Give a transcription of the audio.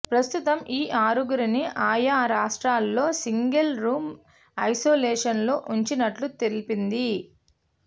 ప్రస్తుతం ఈ ఆరుగురిని ఆయా రాష్ట్రాల్లో సింగిల్ రూం ఐసోలేషన్లో ఉంచినట్టు తెలిపింది